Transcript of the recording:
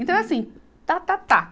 Então é assim, tá, tá, tá.